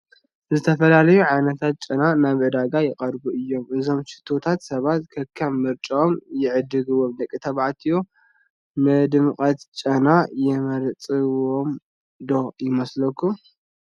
ዝተፈላለዩ ዓይነታት ጨና ናብ ዕዳጋ ይቐርቡ እዮም፡፡ እዞም ሽቶታት ሰባት ከከም ምርጭኦም ይዕድግዎም፡፡ ደቂ ተባዕትዮ ንድሙቕ ጨና ይመርፅዎ ዶ ይመስለኩም?